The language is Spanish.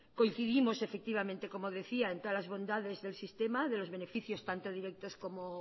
coincidimos efectivamente como decía en todas las bondades del sistema de los beneficios tanto directos como